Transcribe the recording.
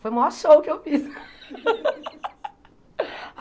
Foi o maior show que eu fiz.